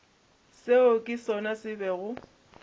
seo ke sona se bego